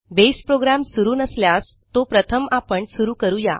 base program सुरू नसल्यास तो प्रथम आपण सुरू करू या